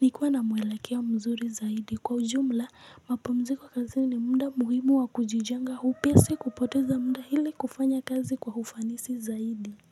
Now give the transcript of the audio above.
ni kuwa na muelekeo mzuri zaidi kwa ujumla mapumziko kazini muda muhimu wa kujijenga upya si kupoteza muda hili kufanya kazi kwa ufanisi zaidi.